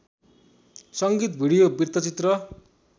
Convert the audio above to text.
संगीत भिडियो वृत्तचित्र